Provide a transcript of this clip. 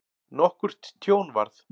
Nokkurt tjón varð.